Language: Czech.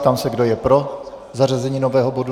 Ptám se, kdo je pro zařazení nového bodu.